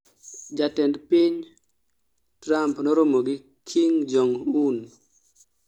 jatend piny trump noromo gi kim jong un